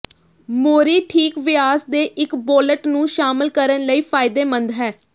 ਮੋਰੀ ਠੀਕ ਵਿਆਸ ਦੇ ਇਕ ਬੋਲਟ ਨੂੰ ਸ਼ਾਮਲ ਕਰਨ ਲਈ ਫਾਇਦੇਮੰਦ ਹੈ